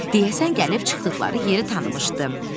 Deyəsən gəlib çıxdıqları yeri tanımışdı.